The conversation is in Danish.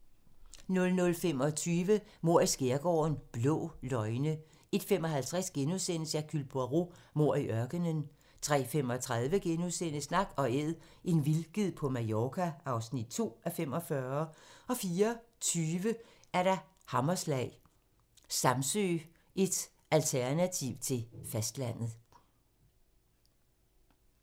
00:25: Mord i skærgården: Blå løgne 01:55: Hercule Poirot: Mord i ørkenen * 03:35: Nak & Æd - en vildged på Mallorca (2:45)* 04:20: Hammerslag - Samsø, et alternativ til fastlandet *